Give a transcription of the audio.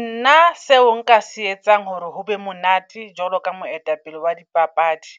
Nna seo nka se etsang hore hobe monate jwalo ka moetapele wa dipapadi.